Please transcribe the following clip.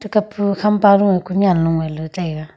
kap pu khampa ru e ku nyan long taiga.